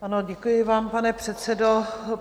Ano, děkuji vám, pane předsedo.